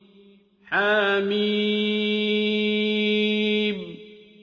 حم